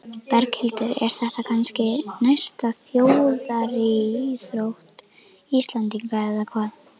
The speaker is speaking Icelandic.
Berghildur, er þetta kannski næsta þjóðaríþrótt Íslendinga eða hvað?